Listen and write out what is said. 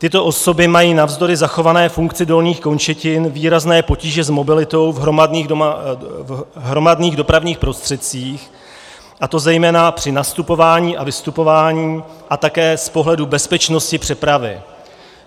Tyto osoby mají navzdory zachované funkci dolních končetin výrazné potíže s mobilitou v hromadných dopravních prostředcích, a to zejména při nastupování a vystupování a také z pohledu bezpečnosti přepravy.